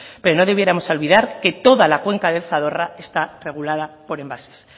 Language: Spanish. pero no debiéramos olvidar que toda la cuenda del zadorra está regulada por embalses